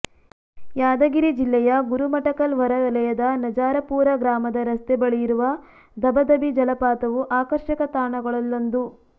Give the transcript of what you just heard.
ಯಾದಗಿರಿ ಜಿಲ್ಲೆಯ ಗುರುಮಠಕಲ್ ಹೊರವಲಯದ ನಜರಾಪೂರ ಗ್ರಾಮದ ರಸ್ತೆ ಬಳಿಯಿರುವ ಧಬ ಧಬಿ ಜಲಪಾತವು ಆಕರ್ಷಕ ತಾಣಗಳಲ್ಲೊಂದು